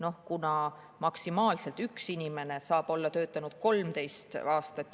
Üks inimene, esimene lähtetoetuse taotleja, saab olla töötanud juba 13 aastat.